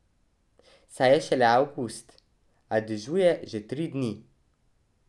Saj je šele avgust, a dežuje že tri dni.